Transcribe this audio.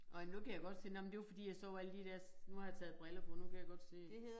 Ej men nu kan jeg godt se nej men det var fordi jeg så alle de dér nu har jeg taget briller på nu kan jeg godt se det